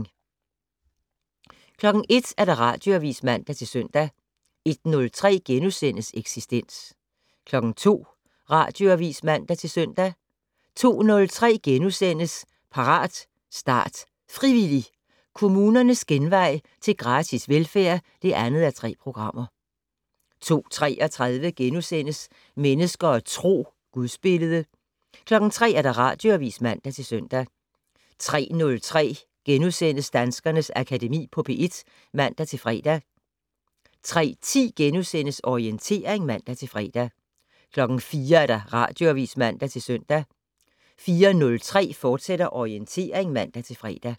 01:00: Radioavis (man-søn) 01:03: Eksistens * 02:00: Radioavis (man-søn) 02:03: Parat, start, frivillig! - Kommunernes genvej til gratis velfærd (2:3)* 02:33: Mennesker og Tro: Gudsbillede * 03:00: Radioavis (man-søn) 03:03: Danskernes Akademi på P1 *(man-fre) 03:10: Orientering *(man-fre) 04:00: Radioavis (man-søn) 04:03: Orientering, fortsat (man-fre)